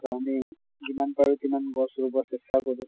যিমান পাৰো তিমান গছ ৰুব চেষ্টা কৰোঁ।